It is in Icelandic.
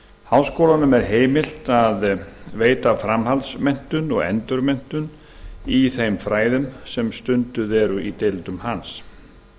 háskólanum er heimilt að veita framhaldsmenntun og endurmenntun í þeim fræðum sem stunduð eru í deildum hans